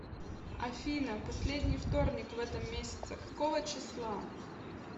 афина последний вторник в этом месяце какого числа